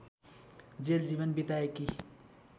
jail जीवन बिताएकी